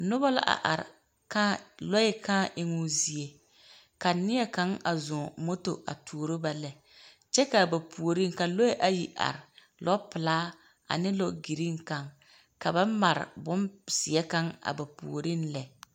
Noba la a are kãã lɔɛ kãã eŋoo zie. Ka neɛ kaŋ a zɔŋ moto a toro ba lɛ kyɛ a ba puiiŋ ka lɔɛ ayi are lɔpelaa ane lɔ giriiŋ kaŋ ka ba mare bonseŋ kaŋ a ba puori lɛ